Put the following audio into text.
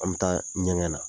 An bɛ taa ɲɛgɛn na.